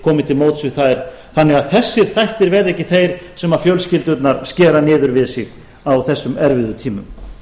komið til móts við þær þannig að þessir þættir verði ekki þeir sem fjölskyldurnar skera niður við sig á þessum erfiðu tímum